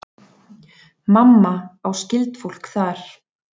Mamma á skyldfólk þar.